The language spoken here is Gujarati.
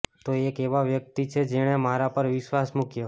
તે એક એવા વ્યક્તિ છે જેણે મારા પર વિશ્વાસ મૂક્યો